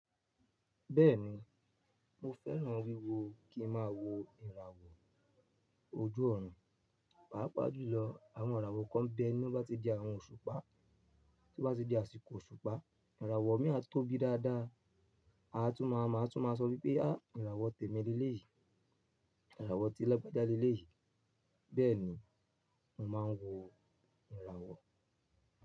Bẹ́ẹ̀ni, mo fẹ́ràn wíwo, kín má wò ìràwọ̀ ojú ọ̀run. Pàápàá jùlọ àwọn ìràwọ̀ kan bẹ ni wọ́n bá ti di àwọn òṣùpá, tí wọ́n bá ti di àsìkò òṣùpá ìràwọ̀ mí á tóbi dáadáa. A tún maa máa, a tun maa sọ pé, á ìràwọ̀ tèmi ni léyìí, ìràwọ̀ ti lagbaja léyìí. Bẹ́ẹ̀ni, mo máa ń wò ìràwọ̀.